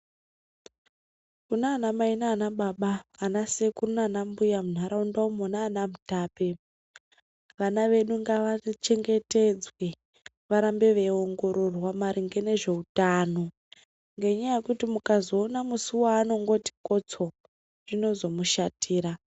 Kunana mai nana baba, ana sekuru nanambuya muntaraunda umwo nana mutape vana vedu ngava chengetedzwe varambe veiongororwa maringe nezveutano ngenyaya yekuti kuzoona musi waanoti kotso zvinozomushatira.